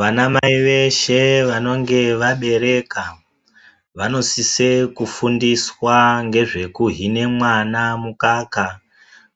Vana mai veshe vanonge vaberwka vanosise kufindiswa ngezvekuhine mwana mukaka